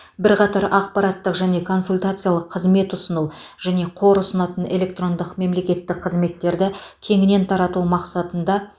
бірқатар ақпараттық және консультациялық қызмет ұсыну және қор ұсынатын электрондық мемлекеттік қызметтерді кеңінен тарату мақсатында